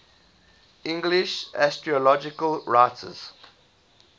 english astrological writers